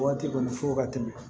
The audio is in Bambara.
Waati kɔni fo ka tɛmɛ